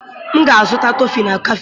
M ga-azụta kọfị na kafe.